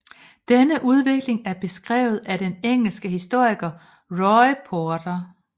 Denne udvikling er beskrevet af den engelske historiker Roy Porter